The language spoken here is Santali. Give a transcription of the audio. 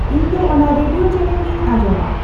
ᱤᱧ ᱫᱚ ᱚᱱᱟ ᱨᱮᱰᱤᱭᱳ ᱪᱮᱱᱮᱞ ᱜᱤᱧ ᱟᱸᱡᱚᱢᱟ